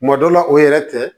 Kuma dɔ la o yɛrɛ tɛ